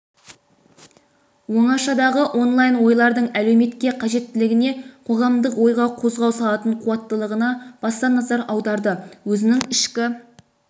оңашадағы онлайн ойлардың әлеуметке қажеттілігіне қоғамдық ойға қозғау салатын қуаттылығына баса назар аударды өзінің ішкі